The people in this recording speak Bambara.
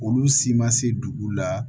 Olu si ma se dugu la